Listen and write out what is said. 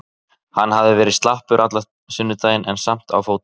Hann hafði verið slappur allan sunnudaginn en samt á fótum.